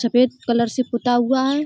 सफ़ेद कलर से पुता हुआ है।